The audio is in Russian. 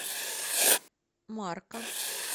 марка